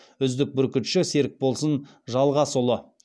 үздік бүркітші серікболсын жалғасұлы